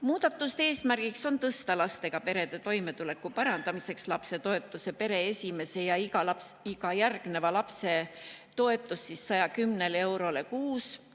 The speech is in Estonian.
Muudatuste eesmärk on lastega perede toimetuleku parandamiseks tõsta pere esimese ja iga järgneva lapse toetus 110 eurole kuus.